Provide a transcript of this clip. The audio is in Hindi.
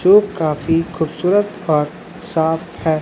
जो काफी खूबसूरत और साफ है।